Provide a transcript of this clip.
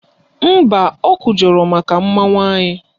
Mba, o kwujọrọ mmanwụ anyị